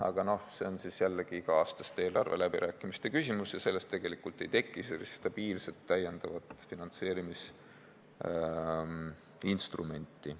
Aga see on jällegi iga-aastaste eelarveläbirääkimiste küsimus ja sellest tegelikult ei teki stabiilset täiendavat finantseerimisinstrumenti.